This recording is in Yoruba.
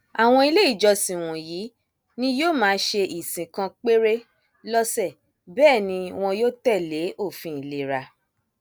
àwọn ilé ìjọsìn wọnyí ni yóò máa ṣe ìsìn kan péré lọsẹ bẹẹ ni wọn yóò tẹlé òfin ìlera